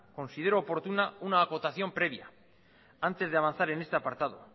considero oportuna una acotación previa antes de avanzar en este apartado